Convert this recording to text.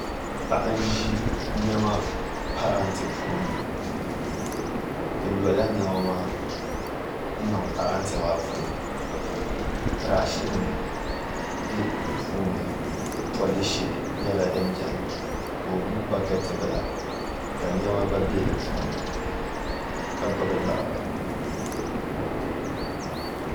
Paɣi n zi nɛma parantɛ puuni o lola nɛma maa n niŋ parantɛ maa puuni brashi nim bɛ di puuni polishi yɛla din bɛni ka o gbubi bakɛti bila ka nɛma gba bɛ di puuni ka gbubi liɣiri.